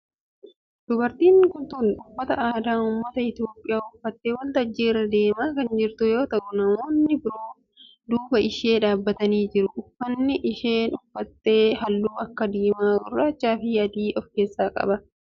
Dubartiin tun uffata aadaa ummata Itiyoophiyaa uffattee waltajjii irra deemaa kan jirtu yoo ta'u namoonni biroo duuba ishee dhaabbatanii jiru. uffanni isheen uffatte halluu akka diimaa, gurraachaa fi adii of keessaa qaba.